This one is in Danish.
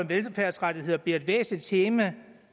velfærdsrettighederne bliver et væsentligt tema